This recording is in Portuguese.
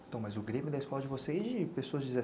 Então, mas o Grêmio da escola de vocês de pessoas de deze...